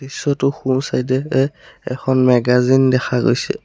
দৃশ্যটোৰ সোঁ চাইড এ এখন মেগাজিন দেখা গৈছে।